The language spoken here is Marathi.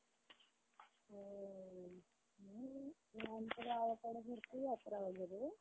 आमच्या गावाकडं भरती यात्रा वगैरे.